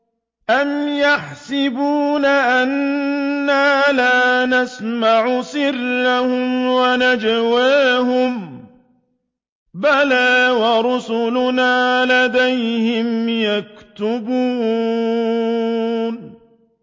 أَمْ يَحْسَبُونَ أَنَّا لَا نَسْمَعُ سِرَّهُمْ وَنَجْوَاهُم ۚ بَلَىٰ وَرُسُلُنَا لَدَيْهِمْ يَكْتُبُونَ